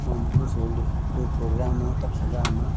कोई प्रोग्राम हो तब सजा ना।